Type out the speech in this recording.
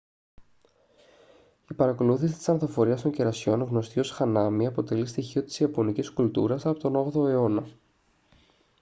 η παρακολούθηση της ανθοφορίας των κερασιών γνωστή ως hanami αποτελεί στοιχείο της ιαπωνικής κουλτούρας από τον 8ο αιώνα